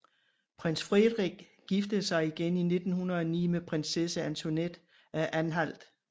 Prins Friedrich giftede sig igen i 1909 med Prinsesse Antoinette af Anhalt